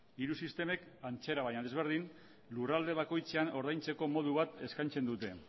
hiru sistemek antzera baina ezberdin lurralde bakoitzean ordaintzeko modu bat eskaintzen dute